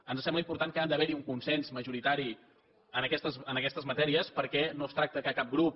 ens sembla important que ha d’haver hi un consens majoritari en aquestes matèries perquè no es tracta que cap grup